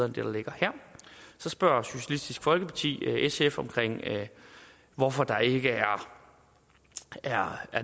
der ligger her så spørger socialistisk folkeparti sf om hvorfor der ikke er